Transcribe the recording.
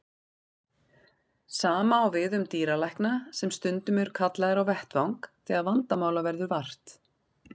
Sama á við um dýralækna sem stundum eru kallaðir á vettvang þegar vandamála verður vart.